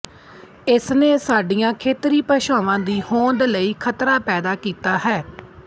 ਇਸਨੇ ਸਾਡੀਆਂ ਖੇਤਰੀ ਭਾਸ਼ਾਵਾਂ ਦੀ ਹੋਂਦ ਲਈ ਖ਼ਤਰਾ ਪੈਦਾ ਕੀਤਾ ਹੈ